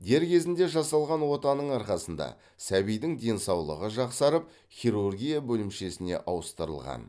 дер кезінде жасалған отаның арқасында сәбидің денсаулығы жақсарып хирургия бөлімшесіне ауыстырылған